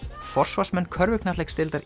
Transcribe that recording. forsvarsmenn körfuknattleiksdeildar